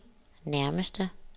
nærmeste